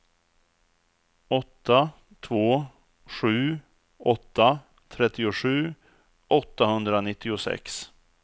åtta två sju åtta trettiosju åttahundranittiosex